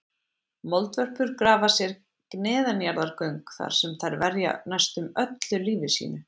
Moldvörpur grafa sér neðanjarðargöng þar sem þær verja næstum öllu lífi sínu.